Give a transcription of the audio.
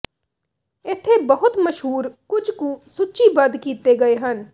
ਇੱਥੇ ਬਹੁਤ ਮਸ਼ਹੂਰ ਕੁਝ ਕੁ ਸੂਚੀਬੱਧ ਕੀਤੇ ਗਏ ਹਨ